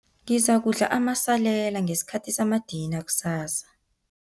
Ngizakudla amasalela ngesikhathi samadina kusasa.